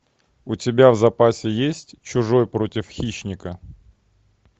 у тебя в запасе есть чужой против хищника